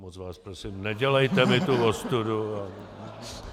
Moc vás prosím, nedělejte mi tu ostudu!